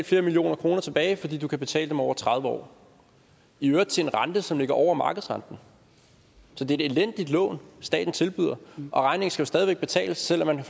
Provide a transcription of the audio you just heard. flere millioner kroner tilbage fordi du kan betale dem over tredive år i øvrigt til en rente som ligger over markedsrenten så det er et elendigt lån staten tilbyder regningen skal jo stadig væk betales selv om man har